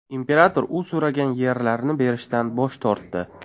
Imperator u so‘ragan yerlarni berishdan bosh tortdi.